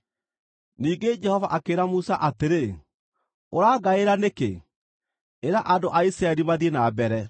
Ningĩ Jehova akĩĩra Musa atĩrĩ, “Ũrangaĩra nĩkĩ? Ĩra andũ a Isiraeli mathiĩ na mbere.